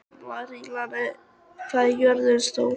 Marinella, hvað er jörðin stór?